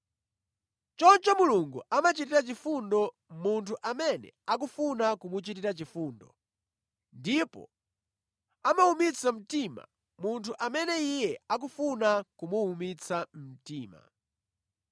Choncho Mulungu amachitira chifundo munthu amene akufuna kumuchitira chifundo ndipo amawumitsa mtima munthu amene Iye akufuna kumuwumitsa mtima.